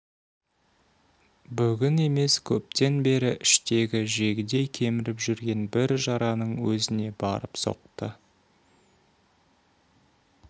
бүгін емес көптен бері іштегі жегідей кеміріп жүрген бір жараның өзіне барып соқты